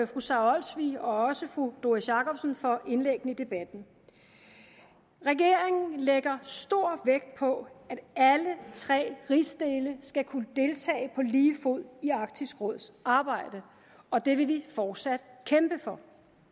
fru sara olsvig og fru doris jakobsen for indlæggene i debatten regeringen lægger stor vægt på at alle tre rigsdele skal kunne deltage på lige fod i arktisk råds arbejde og det vil den fortsat kæmpe for